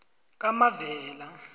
kamavela